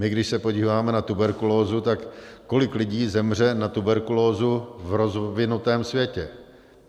My když se podíváme na tuberkulózu, tak kolik lidí zemře na tuberkulózu v rozvinutém světě?